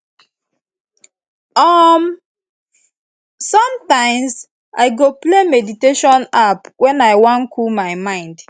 sometimes i go play meditation app when i wan cool my mind